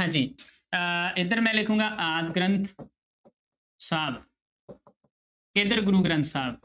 ਹਾਂਜੀ ਅਹ ਇੱਧਰ ਮੈਂ ਲਿਖਾਂਗਾ ਆਦਿ ਗ੍ਰੰਥ ਸਾਹਿਬ ਇੱਧਰ ਗੁਰੂ ਗ੍ਰੰਥ ਸਾਹਿਬ